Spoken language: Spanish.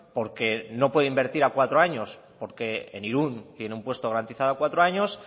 porque no puede invertir a cuatro años porque en irún tiene un puesto garantizado cuatro años